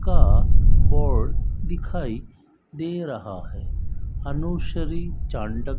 का बोर्ड दिखाई दे रहा है अनुश्री चांडक--